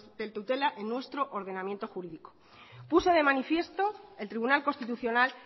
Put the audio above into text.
de tutela en nuestro ordenamiento jurídico puso de manifiesto el tribunal constitucional